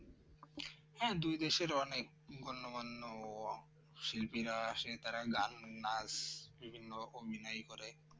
হ্যাঁ দুই দেশের অনেক গণ্যমান্য শিল্পীরা আছে তারা গান নাচ বিভিন্ন অভিনয় করে